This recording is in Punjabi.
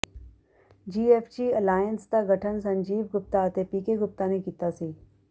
ਜੀਐਫਜੀ ਅਲਾਇੰਸ ਦਾ ਗਠਨ ਸੰਜੀਵ ਗੁਪਤਾ ਅਤੇ ਪੀਕੇ ਗੁਪਤਾ ਨੇ ਕੀਤਾ ਸੀ